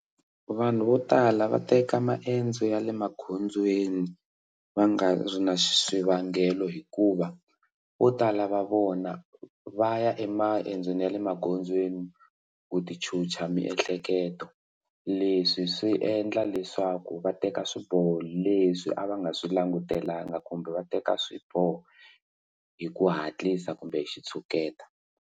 Vanhu vo tala va teka maendzo ya le magondzweni va nga ri na swivangelo hikuva vo tala va vona va ya emaendzweni ya le magondzweni ku tichucha miehleketo leswi swi endla leswaku va teka swiboho leswi a va nga swi langutelanga kumbe va teka swiboho hi ku hatlisa kumbe xitshuketa.